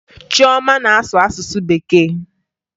Chioma na-asụ asụsụ Bekee